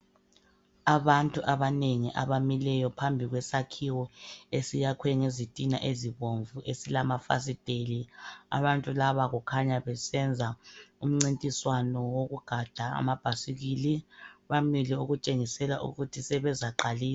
Abantu abanengi abamileyo phambi kwesakhiwo, esiyakwe ngezitina ezibomvu, esilamafasitheli. Abantu laba kukhanya besenza imincintiswano wokugada amabhayisikili. Bamile okutshengisela ukuthi sebezaqalisa.